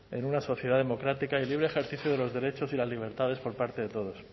en una sociedad democrática el libre ejercicio de los derechos y libertades por parte de todos